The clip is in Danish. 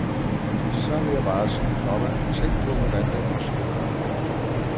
Så vil jeg bare sige, komma tænk på hvordan den person har det. punktum